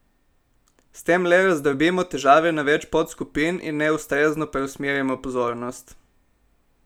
S tem le razdrobimo težave na več podskupin in neustrezno preusmerjamo pozornost.